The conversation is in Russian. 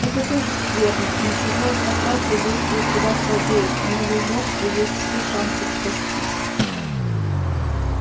это тоже скверно но чужое проклятие действует куда слабее у новой жертвы есть все шансы спастись